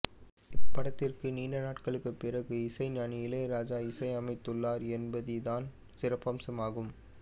இப்படத்திற்கு நீண்ட நாட்களுக்குப்பிறகு இசைஞானி இளையராஜா இசை அமைத்துள்ளார் என்பது இதன் சிறப்பம்சம் ஆகும்